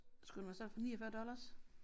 Skulle den være til salg for 49 dollars?